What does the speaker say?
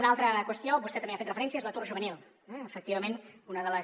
una altra qüestió vostè també hi ha fet referència és l’atur juvenil eh efectivament una de les